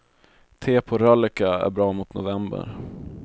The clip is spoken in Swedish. Te på rölleka är bra mot november.